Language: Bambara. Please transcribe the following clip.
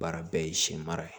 Baara bɛɛ ye siɲɛma ye